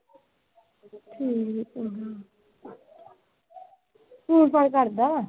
phone ਫਾਨ ਕਰਦਾ